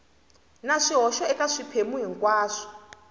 na swihoxo eka swiphemu hinkwaswo